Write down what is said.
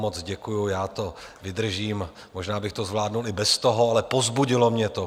Moc děkuju, já to vydržím, možná bych to zvládl i bez toho, ale povzbudilo mě to.